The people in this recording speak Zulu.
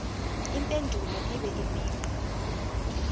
impendulo ibe imigqa